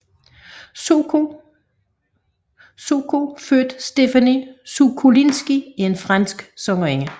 Soko født Stéphanie Sokolinski er en fransk sangerinde